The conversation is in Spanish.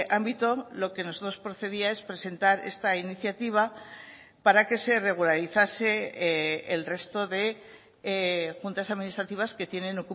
ámbito lo que nosotros procedía es presentar esta iniciativa para que se regularizase el resto de juntas administrativas que tienen